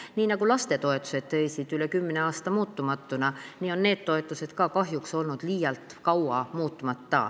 Nii nagu lapsetoetused seisid üle kümne aasta muutumatuna, nii on ka need toetused olnud kahjuks liialt kaua muutmata.